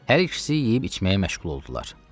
Hər ikisi yeyib-içməyə məşğul oldular.